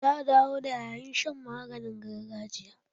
Za a dawo da yayin shan maganin gargajiya.